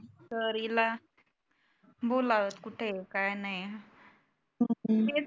तर इला बोलावं कुठे आहे काय नाही तेच